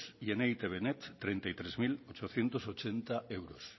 y en e i te be net treinta y tres mil ochocientos ochenta euros